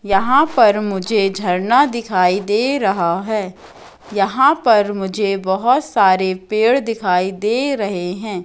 यहां पर मुझे झरना दिखाई दे रहा है यहां पर मुझे बहुत सारे पेड़ दिखाई दे रहे हैं।